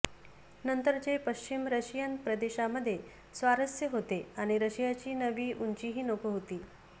नंतरचे पश्चिम रशियन प्रदेशांमध्ये स्वारस्य होते आणि रशियाची नवी उंचीही नको होती